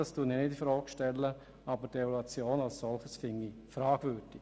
Dies stelle ich nicht infrage, aber die Evaluation als solche erachte ich als fragwürdig.